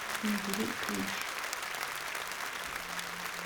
набери криш